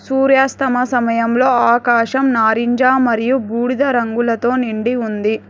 సూర్యాస్తమ సమయంలో ఆకాశం నారింజ మరియు బూడిద రంగులతో నిండి ఉంది.